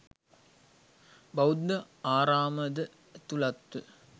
බෞද්ධ ආරාමද ඇතුළත්ව